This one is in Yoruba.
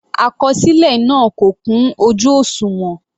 Àkọsílẹ náà kò kún ojú òṣùwọ̀n.